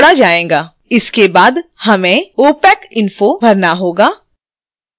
इसके बाद हमें opac info भरना होगा